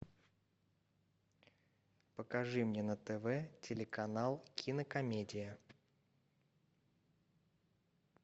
покажи мне на тв телеканал кинокомедия